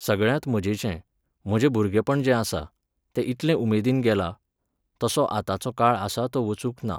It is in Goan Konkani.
सगळ्यांत मजेचें, म्हजें भुरगेपण जें आसा, तें इतलें उमेदीन गेलां, तसो आतांचो काळ आसा तो वचूंक ना.